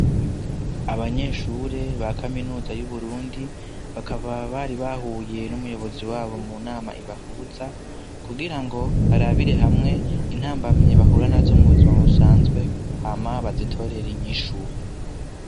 Abanyeshure ba kaminuza y'uburundi ,bakaba bari bahuye n'umuyobozi wabo mu nama ibahuza, kugira ngo barabire hamwe intambamye bahurana zo mu buzima busanzwe ,hama bazitorere inyishuru.